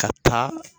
Ka taa